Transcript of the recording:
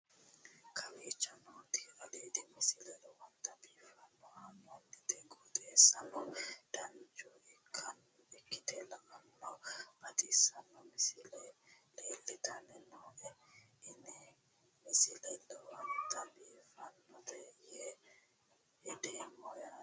kowicho nooti aliidi misile lowonta biifinse haa'noonniti qooxeessano dancha ikkite la'annohano baxissanno misile leeltanni nooe ini misile lowonta biifffinnote yee hedeemmo yaate